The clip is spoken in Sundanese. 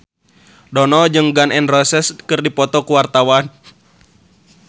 Dono jeung Gun N Roses keur dipoto ku wartawan